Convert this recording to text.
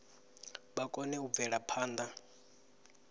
vha kone u bvela phanḓa